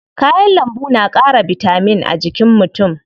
Kayan lambu na ƙara bitamin a jikin mutu.